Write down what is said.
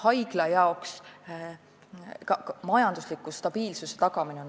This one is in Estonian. Oluline on haigla majandusliku stabiilsuse tagamine.